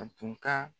A tun ka